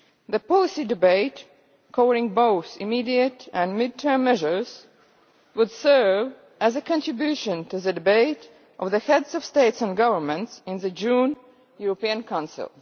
The policy debate covering both immediate and mid term measures would serve as a contribution to the debate of the Heads of State or Government in the June European Council.